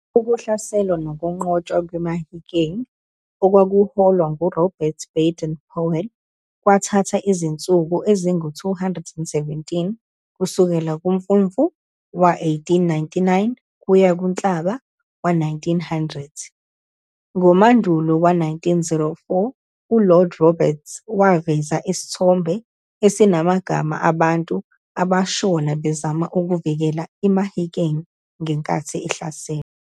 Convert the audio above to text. Ukuhlaselwa nokunqotshwa kwe-Mahikeng okwakuholwa ngu-Robert Baden-Powell kwathatha izinsuku ezingama-217 kusukela ku-Mfumfu wa-1899 kuya ku-Nhlaba wa-1900. Ngo Mandulo wa-1904, uLord Roberts waveza isithombe esasinamagama abantu abashona bezama ukuvikela iMahikeng ngenkathi ihlaselwa.